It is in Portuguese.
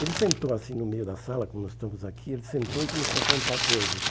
Ele sentou assim no meio da sala, como nós estamos aqui, ele sentou e começou a contar coisas.